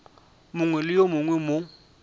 mongwe le yo mongwe mo